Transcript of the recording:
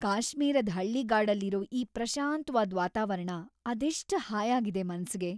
ಕಾಶ್ಮೀರದ್ ಹಳ್ಳಿಗಾಡಲ್ಲಿರೋ ಈ ಪ್ರಶಾಂತ್ವಾದ್ ವಾತಾವರ್ಣ ಅದೆಷ್ಟ್‌ ಹಾಯಾಗಿದೆ ಮನ್ಸಿಗೆ.